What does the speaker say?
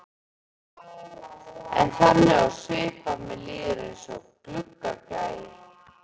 Er þannig á svip að mér líður eins og gluggagægi.